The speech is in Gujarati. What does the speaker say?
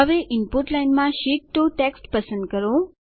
હવે ઈનપુટ લાઈનમાં શીટ 2 ટેક્સ્ટ પસંદ કરો